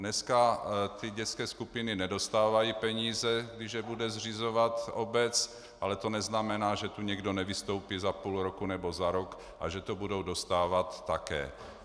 Dneska ty dětské skupiny nedostávají peníze, když je bude zřizovat obec, ale to neznamená, že tu někdo nevystoupí za půl roku nebo za rok a že to budou dostávat také.